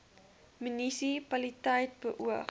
munisi paliteit beoog